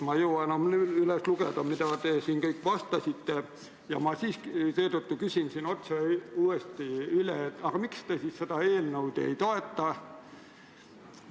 Ma ei jõua praegu üles lugeda, mida te siin kõik vastasite, ja seetõttu küsin otse uuesti üle: miks te seda eelnõu ei toeta?